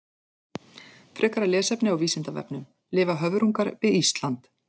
Frekara lesefni á Vísindavefnum: Lifa höfrungar við Ísland?